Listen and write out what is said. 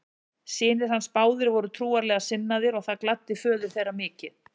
Synir hans báðir voru trúarlega sinnaðir og það gladdi föður þeirra mikið.